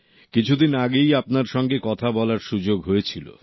কিছুদিন আগেই আপনার সঙ্গে কথা বলার সুযোগ হয়েছিল